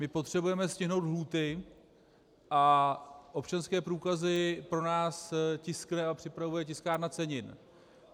My potřebujeme stihnout lhůty, a občanské průkazy pro nás tiskne a připravuje Tiskárna cenin.